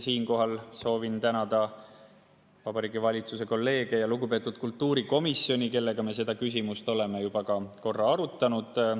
Siinkohal soovin tänada kolleege Vabariigi Valitsuses ja lugupeetud kultuurikomisjoni, kellega me seda küsimust oleme juba ka korra arutanud.